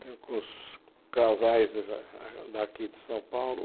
Tenho com os casais a daqui de São Paulo.